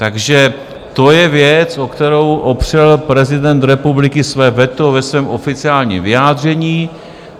Takže to je věc, o kterou opřel prezident republiky své veto ve svém oficiálním vyjádření.